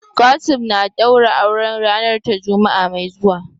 Kasim na daura auren ranar ta Juma'a mai zuwa.